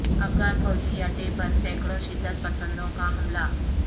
افغان فوجی اڈے پر سینکڑوں شدت پسندوں کا حملہ